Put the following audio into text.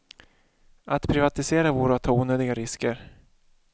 Att privatisera vore att ta onödiga risker.